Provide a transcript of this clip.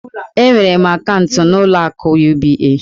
Enwere m akaụntụ n'ụlọ akụ UBA.